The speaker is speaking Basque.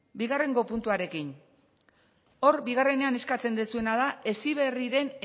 bigarren puntuarekin hor bigarrenean eskatzen duzuena da heziberriren